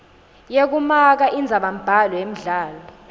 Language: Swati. yekumaka indzabambhalo yemdlalo